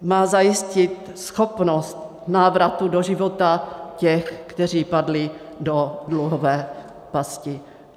Má zajistit schopnost návratu do života těch, kteří padli do dluhové pasti.